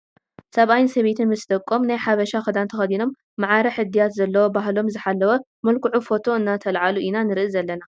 ሰብኣይ ሰበይቲ ምስ ደቆም ናይ ሓበሳ ክዳን ተከዲኖም ማዕረ እድያት ዘለዎ ባህሎም ዝሓለወ መልክዑ ፎቶ እናተለዓሉ ኢና ንርኢ ዘለና ።